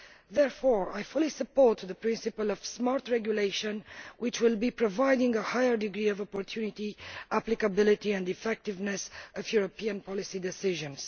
Therefore, I fully support the principle of smart regulation which will provide a higher degree of opportunity, applicability and effectiveness to European policy decisions.